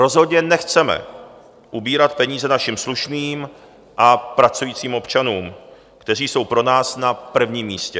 Rozhodně nechceme ubírat peníze našim slušným a pracujícím občanům, kteří jsou pro nás na prvním místě.